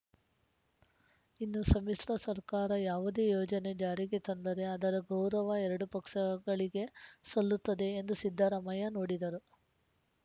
ಇನ್ನು ಸಮ್ಮಿಶ್ರ ಸರ್ಕಾರ ಯಾವುದೇ ಯೋಜನೆ ಜಾರಿಗೆ ತಂದರೆ ಅದರ ಗೌರವ ಎರಡೂ ಪಕ್ಸಗಳಿಗೆ ಸಲ್ಲುತ್ತದೆ ಎಂದು ಸಿದ್ದರಾಮಯ್ಯ ನುಡಿದರು